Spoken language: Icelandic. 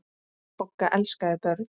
Bogga elskaði börn.